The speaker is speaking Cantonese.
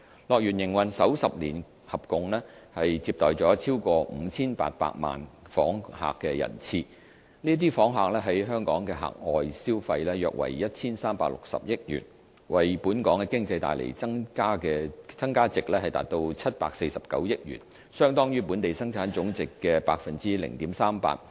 樂園營運首10年合共接待了超過 5,800 萬訪客人次，這些訪客在港的額外消費約為 1,360 億元，為本港經濟帶來的增加值達749億元，相當於本地生產總值的 0.38%。